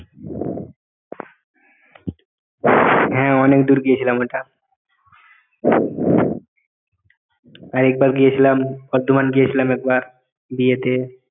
হ্যাঁ অনেক দূর গিয়েছিলাম ওইটা আর একবার গিয়েছিলাম বর্ধমান গিয়েছিলাম একবার বিয়েতে